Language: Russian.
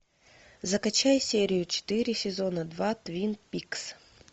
закачай серию четыре сезона два твин пикс